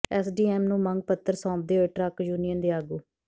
SDM ਨੂੰ ਮੰਗ ਪੱਤਰ ਸੌਂਪਦੇ ਹੋਏ ਟਰੱਕ ਯੂਨੀਅਨ ਦੇ ਆਗੂ